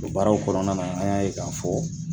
O baaraw kɔnɔna na an y'a ye k'a fɔ